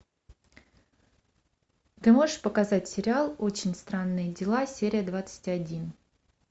ты можешь показать сериал очень странные дела серия двадцать один